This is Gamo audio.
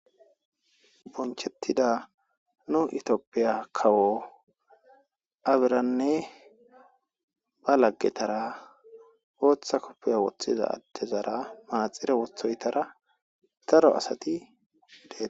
Bonchchetida nu itophphiya kawo Abiranne ba laggetara booththa koppiya woththida addeza manaxire woththoytara daro asati de'osona.